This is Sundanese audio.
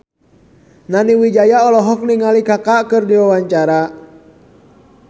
Nani Wijaya olohok ningali Kaka keur diwawancara